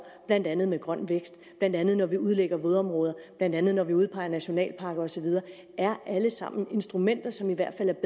blandt andet med grøn vækst blandt andet når vi udlægger vådområder blandt andet når vi udpeger nationalparker og så videre det er alle sammen instrumenter som i hvert